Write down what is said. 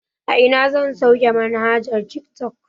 A ina zan sauke manhajar tiktok